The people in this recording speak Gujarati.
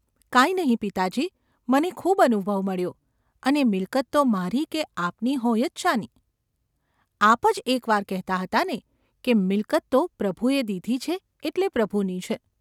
‘કાંઈ નહિ, પિતાજી મને ખૂબ અનુભવ મળ્યો અને મિલકત તો મારી કે આપની હોય જ શાની ? આપ જ એક વાર કહેતા હતા ને કે એ મિલકત તો પ્રભુએ દીધી છે એટલે પ્રભુની છે.